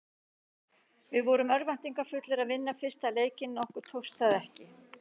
Við vorum örvæntingarfullir að vinna fyrsta leikinn en okkur tókst það ekki.